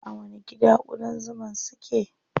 A wani gida ƙudan zuman su ke?